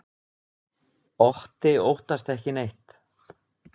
Otti óttast ekki neitt!